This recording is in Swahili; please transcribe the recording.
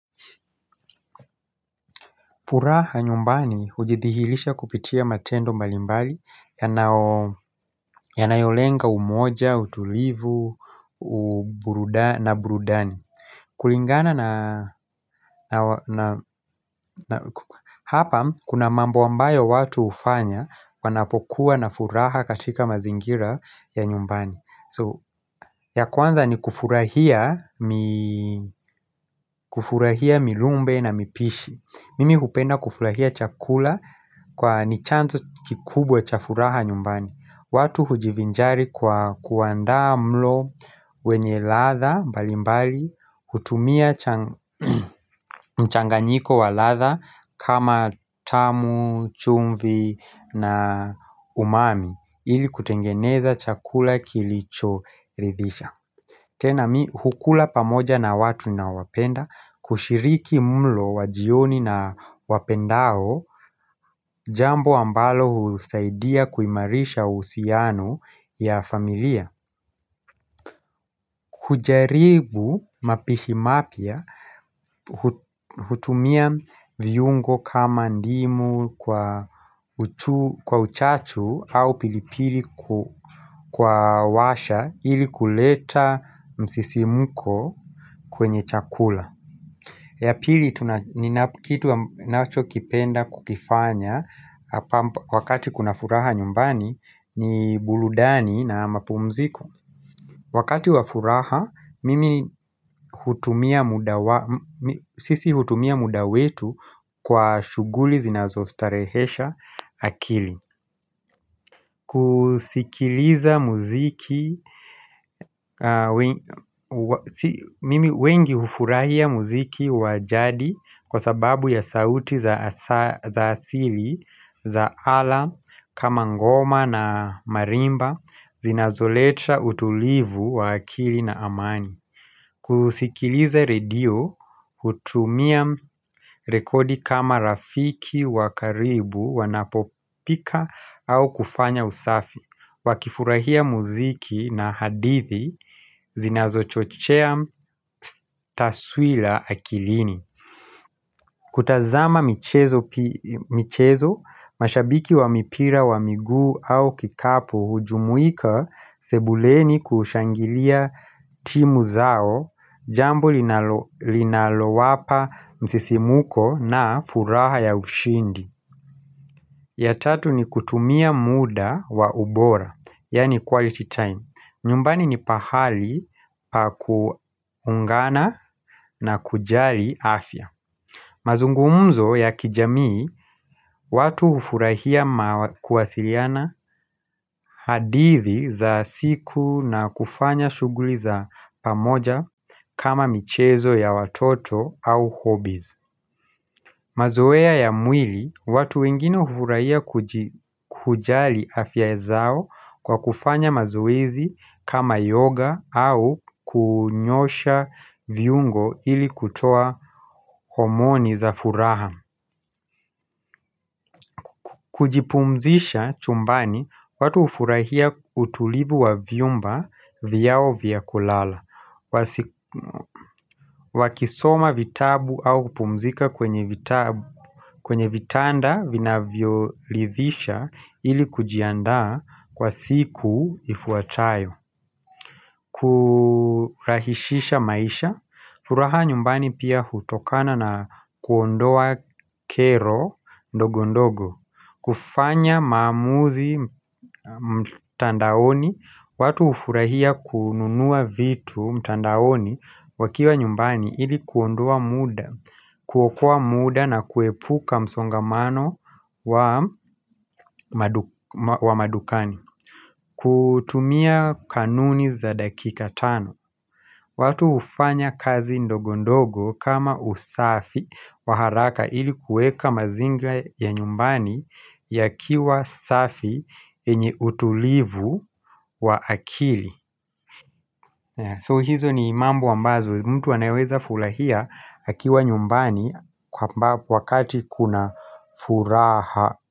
Furaha nyumbani ujithihilisha kupitia matendo mbalimbali yanayo lenga umoja, utulivu, na burudani Hapa kuna mambo ambayo watu hufanya wanapokuwa na furaha katika mazingira ya nyumbani ya kwanza ni kufurahia milumbe na mipishi Mimi hupenda kufurahia chakula kwa ni chanzo kikubwa cha furaha nyumbani. Watu hujivinjari kwa kuandaa mlo wenye ladha mbali mbali, hutumia mchanganyiko wa ladha kama tamu, chumvi na umami ili kutengeneza chakula kilicho ridhisha. Tena mi hukula pamoja na watu nawapenda kushiriki mlo wajioni na wapendao jambo ambalo husaidia kuimarisha uhusiano ya familia. Kujaribu mapishi mapya hutumia viungo kama ndimu kwa uchachu au pilipili kwa washa ili kuleta msisimuko kwenye chakula. Ya pili kitu wa nacho kipenda kukifanya wakati kuna furaha nyumbani ni buludani na mapumziko Wakati wa furaha, mimi sisi hutumia muda wetu kwa shuguli zinazostarehesha akili kusikiliza muziki wengi hufurahia muziki wa jadi kwa sababu ya sauti za asili za ala kama ngoma na marimba zinazoleta utulivu wa akili na amani kusikiliza radio hutumia rekodi kama rafiki wakaribu wanapopika au kufanya usafi wakifurahia muziki na hadithi zinazo chochea taswila akilini kutazama michezo, mashabiki wa mipira wa miguu au kikapu hujumuika sebuleni kushangilia timu zao Jambo linalo wapa msisimuko na furaha ya ushindi ya tatu ni kutumia muda wa ubora, yani quality time nyumbani ni pahali pa kuungana na kujali afya mazungumzo ya kijamii, watu hufurahia kuwasiliana hadithi za siku na kufanya shuguli za pamoja kama michezo ya watoto au hobbiz Mazowea ya mwili, watu wengine ufurahia kujali afya zao kwa kufanya mazoezi kama yoga au kunyosha viungo ili kutoa homoni za furaha. Kujipumzisha chumbani watu ufurahia utulivu wa vyumba vyao vya kulala wakisoma vitabu au kupumzika kwenye vitanda vinavyo lithisha ili kujiandaa kwa siku ifuatayo Kurahishisha maisha furaha nyumbani pia hutokana na kuondoa kero ndogo ndogo kufanya maamuzi mtandaoni, watu ufurahia kununua vitu mtandaoni wakiwa nyumbani ili kuondoa muda, kuokoa muda na kuepuka msongamano wa madukani kutumia kanuni za dakika tano watu hufanya kazi ndogo ndogo kama usafi wa haraka ili kueka mazingla ya nyumbani yakiwa safi yenye utulivu wa akili So hizo ni mambo ambazo mtu wanaweza fulahia akiwa nyumbani kwa wakati kuna furaha.